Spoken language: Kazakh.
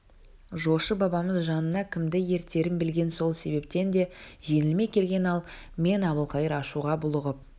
жошы бабамыз жанына кімді ертерін білген сол себептен де жеңілмей келген ал мен әбілқайыр ашуға булығып